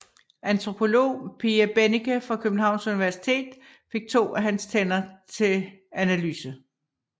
Antropolog Pia Bennike fra Københavns Universitet fik to af hans tænder til analyse